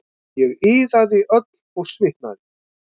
Ég iðaði öll og svitnaði.